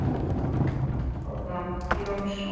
eftir Loga Jónsson